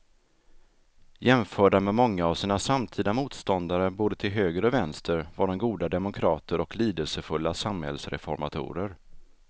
Jämförda med många av sina samtida motståndare både till höger och vänster var de goda demokrater och lidelsefulla samhällsreformatorer.